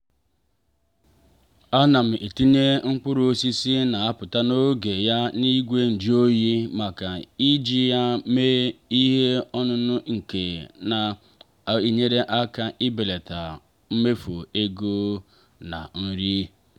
ana m etinye mkpụrụ osisi n'apụta n'oge ya n'igwe njụ oyi maka iji ya mee ihe ọṅụṅụ nke na-enyere aka ibelata mmefu ego na nri.